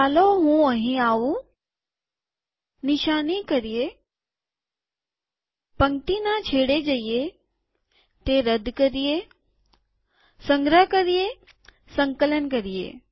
ચાલો હું અહીં આવું નિશાની કરીએ પંક્તિના છેડે જઈએતે રદ કરીએસંગ્રહ કરીએસંકલન કરીએ